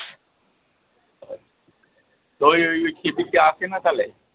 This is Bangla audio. ওই ওই ওই খেপিটি আসে না তালে?